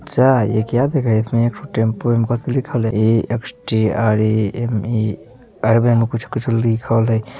अच्छा ये क्या दिखाई हेय इसमे एगो टैम्पो लिखल हेय में कुछो-कुछो लिखल हेय ।